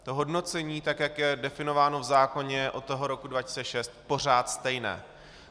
To hodnocení, tak jak je definováno v zákoně od toho roku 2006, je pořád stejné.